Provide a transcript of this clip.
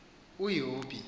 uyobi